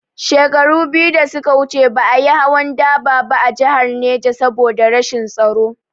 Shekaru biyu da suka wuce ba a yi hawan dubar ba a jihar Neja saboda rashin tsaro